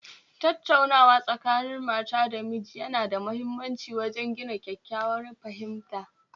Tattaunawa Tsakanin Mata da miji Yana da muhimmanci wajen gina kyakkyawar fahimta